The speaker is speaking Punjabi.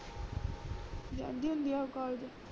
ਜਾਂਦੀ ਹੁੰਦੀ ਆ ਉਹ COLLEGE